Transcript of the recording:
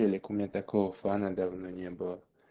телек у меня такого фана давно не было